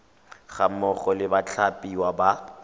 ga mmogo le bathapiwa ba